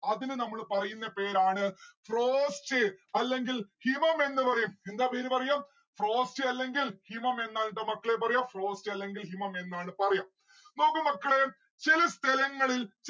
അതിന് നമ്മള് പറയുന്ന പേരാണ് frost അല്ലെങ്കിൽ ഹിമമെന്ന് പറയും എന്താ പേര് പറയും? frost അല്ലെങ്കിൽ ഹിമമെന്ന് ആണുട്ടാ മക്കളെ പറയാ. frost അല്ലെങ്കിൽ ഹിമം എന്നാണ് പറയാ. നോക്ക് മക്കളെ, ചെല സ്ഥലങ്ങളിൽ